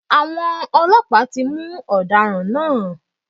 Àwọn Ọlọ́pàá tí mú Ọ̀daràn náà